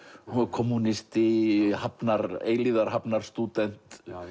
kommúnisti eilífðar